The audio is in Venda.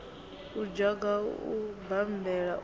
u dzhoga u bammbela u